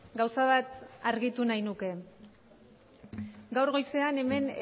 gauza bat argitu nahi nuke gaur goizean hemen